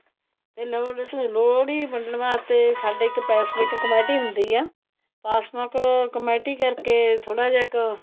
ਤੇ ਸਾਡੇ ਲੋਹੜੀ ਵੰਡਣ ਵਾਸਤੇ ਸਾਡੇ ਇੱਕ ਪਾਸਮਿਕ ਕਮੇਟੀ ਹੁੰਦੀ ਆ ਪਾਸਮਿਕ ਕਮੇਟੀ ਕਰਕੇ ਥੋੜਾ ਜਾ ਕ